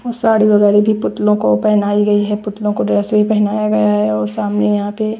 और साड़ी वगैरह भी पुतलों को पहनाई गई है पुतलों को ड्रेस भी पहनाया गया है और सामने यहाँ पे --